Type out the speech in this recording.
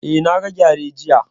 Eh, na ga gyare jiya